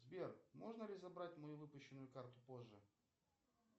сбер можно ли забрать мою выпущенную карту позже